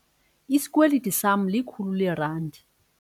Isikweliti sama likhulu leerandi.